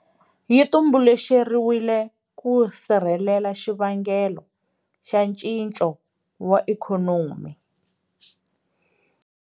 Yi tumbuluxeriwile ku sirhelela xivangelo xa ncinco wa ikhonomi.